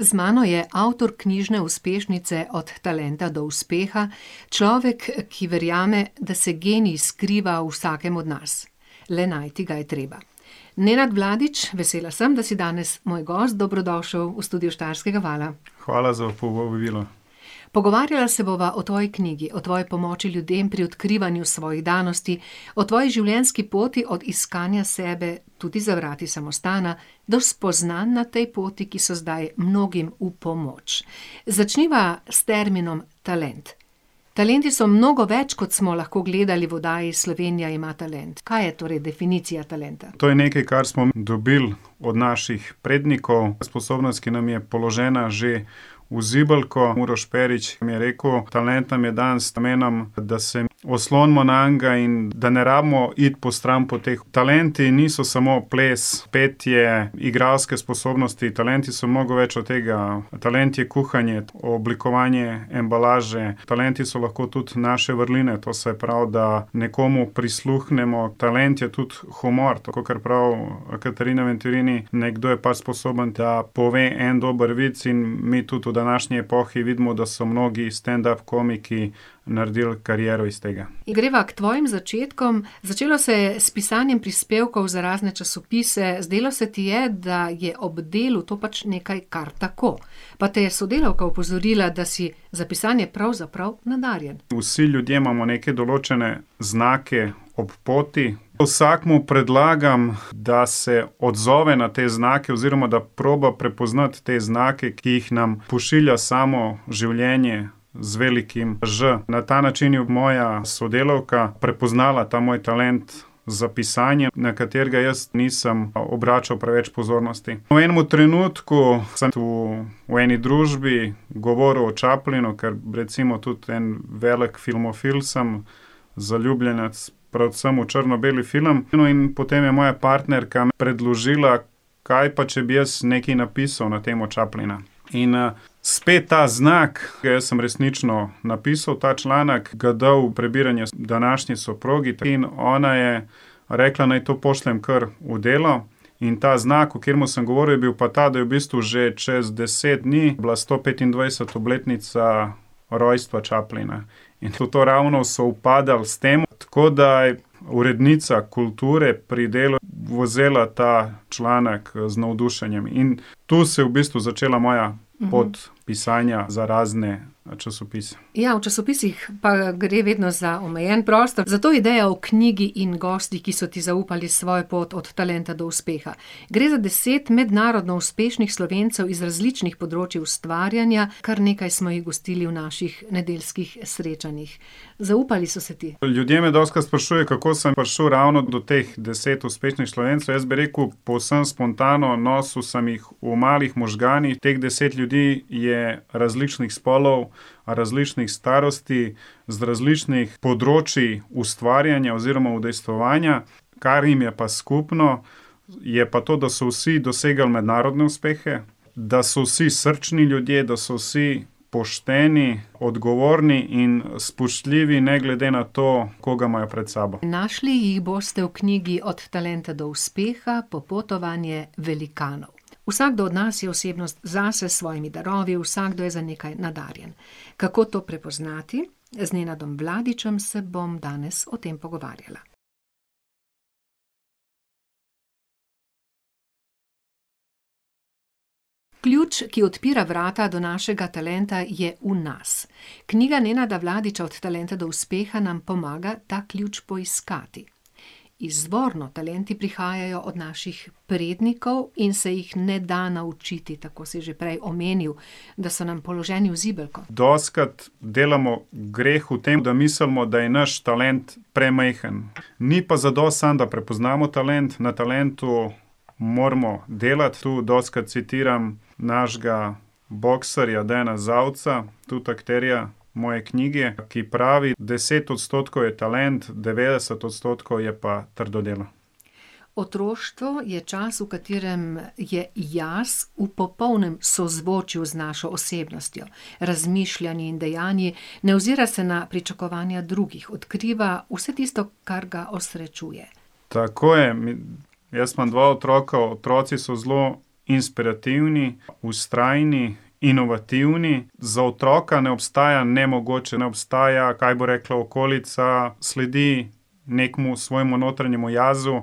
Z mano je avtor knjižne uspešnice Od talenta do uspeha, človek, ki verjame, da se genij skriva v vsakem od nas. Le najti ga je treba. Nenad Vladić, vesela sem, da si danes moj gost. Dobrodošel v studiu Štajerskega vala. Hvala za povabilo. Pogovarjala se bova o tvoji knjigi, o tvoji pomoči ljudem pri odkrivanju svojih danosti, o tvoji življenjski poti od iskanja sebe, tudi za vrati samostana, do spoznanj na tej poti, ki so zdaj mnogim v pomoč. Začniva s terminom talent. Talenti so mnogo več, kot smo lahko gledali v oddaji Slovenija ima talent. Kaj je torej definicija talenta? To je nekaj, kar smo dobili od naših prednikov, sposobnost, ki nam je položena že v zibelko. Uroš Perić mi je rekel: "Talent nam je dan z namenom, da se oslonimo nanj in da ne rabimo iti po stranpoteh." Talenti niso samo ples, petje, igralske sposobnosti, talenti so mnogo več od tega. Talent je kuhanje, oblikovanje embalaže, talenti so lahko tudi naše vrline, to se pravi, da nekomu prisluhnemo. Talent je tudi humor, kakor prav Katarina Venturini; nekdo je pač sposoben, da pove en dober vic. In mi tudi v današnji epohi vidimo, da so mnogi standup komiki naredil kariero iz tega. Greva k tvojim začetkom. Začelo se je s pisanjem prispevkov za razne časopise. Zdelo se ti je, da je ob delu to pač nekaj kar tako. Pa te je sodelavka opozorila, da si za pisanje pravzaprav nadarjen. Vsi ljudje imamo neke določene znake ob poti. Vsakemu predlagam, da se odzove na te znake oziroma, da proba prepoznati te znake, ki jih nam pošilja samo življenje z velikim ž. Na ta način je moja sodelavka prepoznala ta moj talent za pisanje, na katerega jaz nisem obračal preveč pozornosti. V enemu trenutku sem v v eni družbi govoril o Chaplinu, ker recimo tudi en velik filmofil sem, zaljubljenec predvsem v črno-beli film. No, in potem je moja partnerka predložila: "Kaj pa, če bi jaz nekaj napisal na temo Chaplina?" In, spet ta znak. Jaz sem resnično napisal ta članek, ga dal v prebiranje današnji soprogi in ona je rekla, naj to pošljem kar v Delo. In ta znak, o katerem sem govoril, je bil pa ta, da je v bistvu že čez deset dni bila stopetindvajseta obletnica rojstva Chaplina. In je to ravno sovpadalo s tem, tako da je urednica kulture pri Delu vzela ta članek z navdušenjem in tu se je v bistvu začela moja pot pisanja za razne časopise. Ja, v časopisih pa, gre vedno za omejen prostor, zato ideja o knjigi in gostih, ki so ti zaupali svojo pot od talenta do uspeha. Gre za deset mednarodno uspešnih Slovencev iz različnih področij ustvarjanja, kar nekaj smo jih gostili v naših nedeljskih srečanjih. Zaupali so se ti. Ljudje me dostikrat sprašujejo, kako sem prišel ravno do teh deset uspešnih Slovencev. Jaz bi rekel povsem spontano, nosil sem jih v malih možganih. Teh deset ljudi je različnih spolov, različnih starosti, z različnih področij ustvarjanja oziroma udejstvovanja, kar jim je pa skupno, je pa to, da so vsi dosegli mednarodne uspehe, da so vsi srčni ljudje, da so vsi pošteni, odgovorni in spoštljivi ne glede na to, koga imajo pred sabo. Našli jih boste v knjigi Od talenta do uspeha, popotovanje velikanov. Vsakdo od nas je osebnost zase, s svojimi darovi, vsakdo je za nekaj nadarjen. Kako ti prepoznati? Z Nenadom Vladićem se bom danes o tem pogovarjala. Ključ, ki odpira vrata do našega talenta, je v nas. Knjiga Nenada Vladića Od talenta do uspeha nam pomaga ta ključ poiskati. Izvorno talenti prihajajo od naših prednikov in se jih ne da naučiti, tako si že prej omenil. Da so nam položeni v zibelko. Dostikrat delamo greh v tem, da mislimo, da je naš talent premajhen. Ni pa zadosti samo, da prepoznamo talent, na talentu moramo delati. Tu dostikrat citiram našega boksarja Dejana Zavca, tudi akterja moje knjige, ki pravi: "D0eset odstotkov je talent, devetdeset odstotkov je pa trdo delo." Otroštvo je čas, v katerem je jaz v popolnem sozvočju z našo osebnostjo, razmišljanji in dejanji. Ne ozira se na pričakovanja drugih, odkriva vse tisto, kar ga osrečuje. Tako je. Jaz imam dva otroka, otroci so zelo inspirativni, vztrajni, inovativni. Za otroka ne obstaja nemogoče, ne obstaja, kaj bo rekla okolica, sledi nekemu svojemu notranjemu jazu